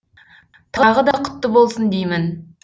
тағы да құтты болсын деймін